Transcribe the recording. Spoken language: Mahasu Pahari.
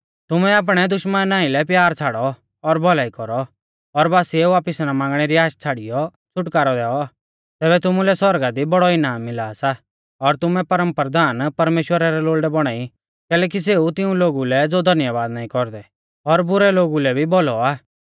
तुमै आपणै दुश्मना आइलै प्यार छ़ाड़ौ और भौलाई कौरौ और बासिऐ वापिस ना मांगणै री आश छ़ाड़ियौ छ़ुटकारौ दैऔ तैबै तुमुलै सौरगा दी बौड़ौ इनाम मिला सा और तुमै परमप्रधान परमेश्‍वरा रै लोल़डै बौणा ई कैलैकि सेऊ तिऊं लोगु लै ज़ो धन्यबाद नाईं कौरदै और बुरै लोगु लै भी भौलौ आ